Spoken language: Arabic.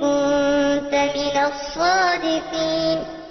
كُنتَ مِنَ الصَّادِقِينَ